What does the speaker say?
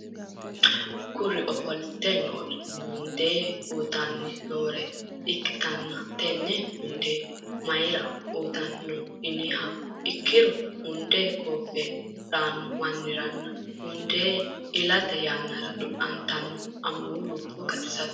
Kuri ofolite noori munde uyitanni noore ikkitanna tenne munde mayira uyitanni no yiniha ikkiro munde gooffenna reyanno manniranna munde ilate yannara du'nantansa amuwi lubbo gatisateet.